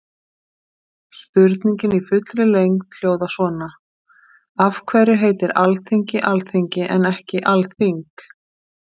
Spurningin í fullri lengd hljóðar svona: Af hverju heitir Alþingi Alþingi en ekki Alþing?